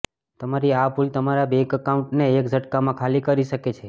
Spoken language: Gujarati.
તમારી આ ભૂલ તમારા બેંક એકાઉન્ટને એક ઝટકામાં ખાલી કરી શકે છે